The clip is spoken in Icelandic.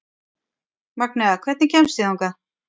Magnea, hvernig kemst ég þangað?